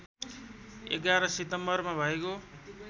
११ सितम्बरमा भएको